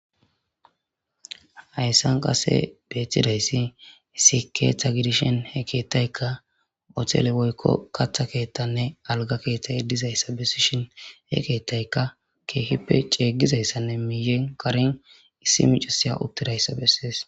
hayissan qasse beettidayssi issi keeththa gidishshin hee keettayikka hotele woykko katta keettanne alga keettayi dizayissa besishshin he keetayikka keehippe ceegizayissanne miiyen karin issi micisiya uttidayissa bessees.